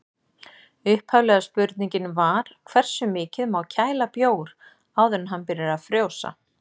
Upphaflega spurningin var: Hversu mikið má kæla bjór áður en hann byrjar að frjósa?